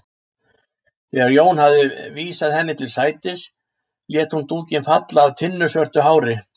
Þegar Jón hafði vísað henni til sætis lét hún dúkinn falla af tinnusvörtu hári.